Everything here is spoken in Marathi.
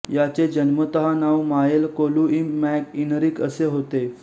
याचे जन्मतः नाव माएल कोलुइम मॅक इनरिक असे होते